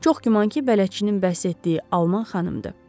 Çox güman ki, bələdçinin bəhs etdiyi alman xanımdır.